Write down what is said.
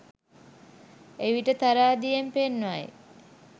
එවිට තරාදියෙන් පෙන්වයි